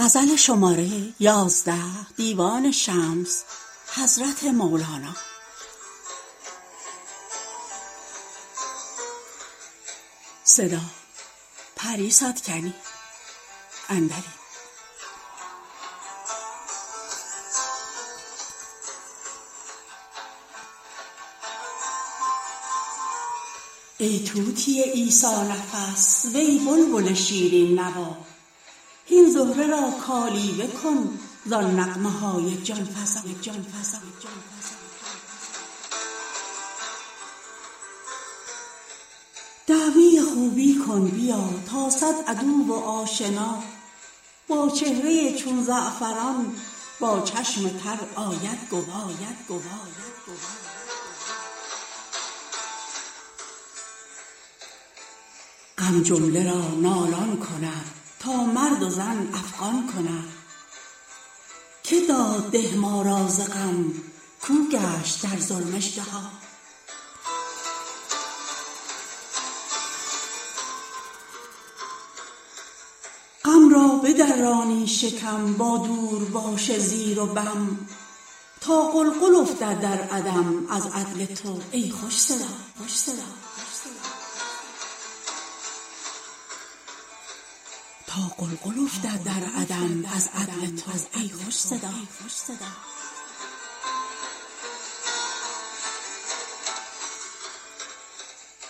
ای طوطی عیسی نفس وی بلبل شیرین نوا هین زهره را کالیوه کن زان نغمه های جان فزا دعوی خوبی کن بیا تا صد عدو و آشنا با چهره ای چون زعفران با چشم تر آید گوا غم جمله را نالان کند تا مرد و زن افغان کند که داد ده ما را ز غم کاو گشت در ظلم اژدها غم را بدرانی شکم با دورباش زیر و بم تا غلغل افتد در عدم از عدل تو ای خوش صدا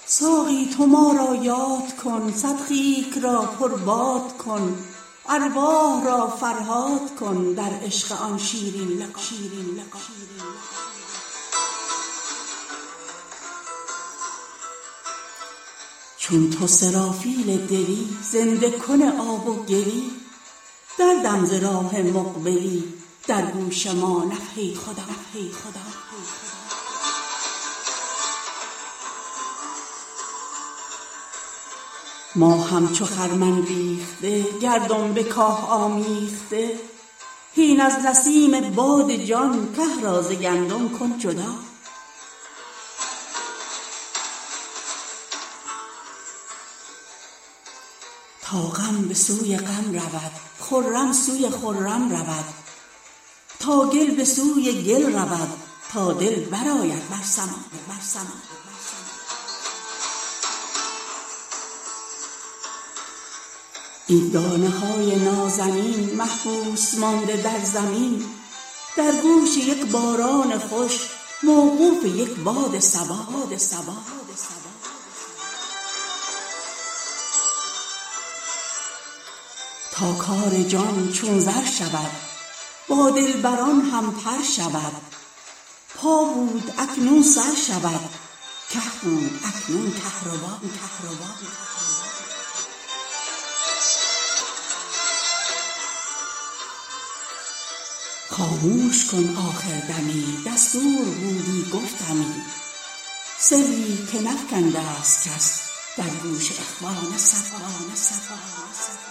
ساقی تو ما را یاد کن صد خیک را پرباد کن ارواح را فرهاد کن در عشق آن شیرین لقا چون تو سرافیل دلی زنده کن آب و گلی دردم ز راه مقبلی در گوش ما نفخه خدا ما همچو خرمن ریخته گندم به کاه آمیخته هین از نسیم باد جان که را ز گندم کن جدا تا غم به سوی غم رود خرم سوی خرم رود تا گل به سوی گل رود تا دل برآید بر سما این دانه های نازنین محبوس مانده در زمین در گوش یک باران خوش موقوف یک باد صبا تا کار جان چون زر شود با دلبران هم بر شود پا بود اکنون سر شود که بود اکنون کهربا خاموش کن آخر دمی دستور بودی گفتمی سری که نفکنده ست کس در گوش اخوان صفا